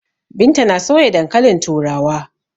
Binta na soya dankalin turawa.